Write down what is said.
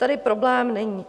Tady problém není.